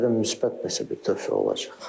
Bəlkə də müsbət nəsə bir töhfə olacaq.